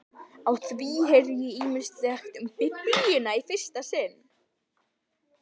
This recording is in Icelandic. Á því heyrði ég ýmislegt um Biblíuna í fyrsta sinn.